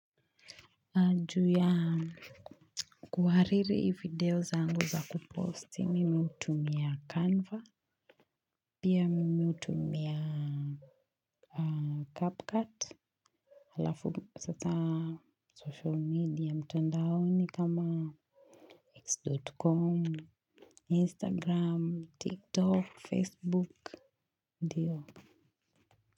Na ju ya kuhariri i video zangu za kuposti mimi hutumia canva pia mimi hutumia aa capcut halafu sasa social media mtandaoni kama x dot com instagram tiktok facebook ndiyo.